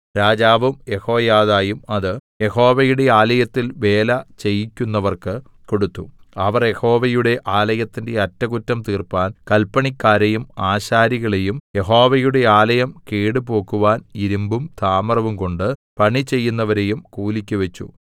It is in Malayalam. രാജാവും യെഹോയാദയും അത് യഹോവയുടെ ആലയത്തിൽ വേല ചെയ്യിക്കുന്നവർക്ക് കൊടുത്തു അവർ യഹോവയുടെ ആലയത്തിന്റെ അറ്റകുറ്റം തീർപ്പാൻ കല്പണിക്കാരെയും ആശാരികളെയും യഹോവയുടെ ആലയം കേടുപോക്കുവാൻ ഇരിമ്പും താമ്രവുംകൊണ്ട് പണിചെയ്യുന്നവരെയും കൂലിക്ക് വെച്ചു